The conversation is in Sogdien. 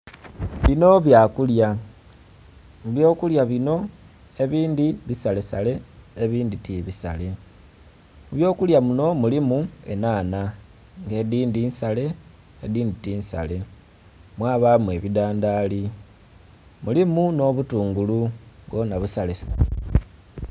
Bino byakulya. Mu by'okulya bino ebindhi bisalesale, ebindhi tibisale. Mu by'okulya muno mulimu enhanha nga edhindhi nsale, edhindhi tinsale, mwabamu ebidhandaali. Mulimu nh'obutungulu bwona busalesale.